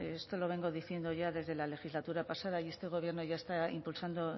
esto lo vengo diciendo ya desde la legislatura pasada y este gobierno ya está impulsando